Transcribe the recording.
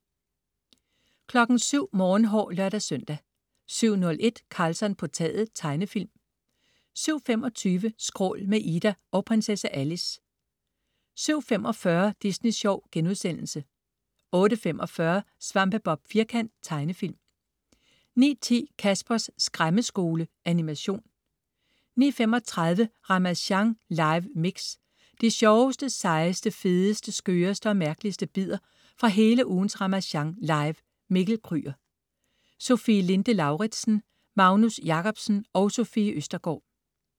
07.00 Morgenhår (lør-søn) 07.01 Karlsson på taget. Tegnefilm 07.25 Skrål. Med Ida og Prinsesse Alice 07.45 Disney Sjov* 08.45 SvampeBob Firkant. Tegnefilm 09.10 Caspers Skræmmeskole. Animation 09:35 Ramasjang live mix. De sjoveste, sejeste, fedeste, skøreste og mærkeligste bidder fra hele ugens Ramasjang Live. Mikkel Kryger Rasmussen, Sofie Linde Lauridsen, Magnus Jacobsen, Sofie Østergaard